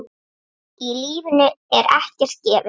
Í lífinu er ekkert gefið.